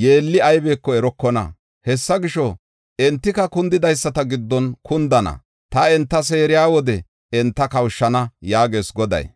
yeelli aybeko erokona. Hessa gisho, entika kundidaysata giddon kundana. Taani enta seeriya wode enta kawushana” yaagees Goday.